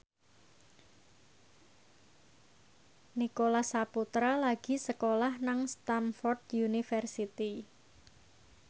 Nicholas Saputra lagi sekolah nang Stamford University